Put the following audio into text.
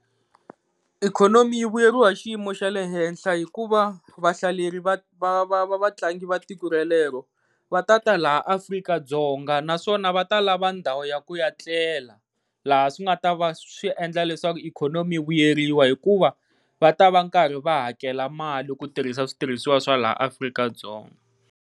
Ikhonomi yi vuyeriwa hi xiyimo xa le henhla hikuva vahlaleri va va va vatlangi va tiko ra lero va ta ta laha Afrika-Dzonga naswona va ta lava ndhawu ya ku ya tlela, laha swi nga ta va swi endla leswaku ikhonomi yi vuyeriwa hikuva va ta va karhi va hakela mali ku tirhisa switirhiswa swa laha Afrika-Dzonga.